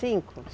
Cinco?